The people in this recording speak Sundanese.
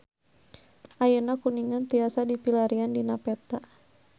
Ayeuna Kuningan tiasa dipilarian dina peta